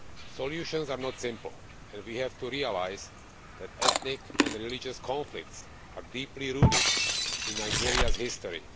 Solutions are not simple, and we have to realise that ethnic and religious conflicts are deeply rooted in Nigeria's history.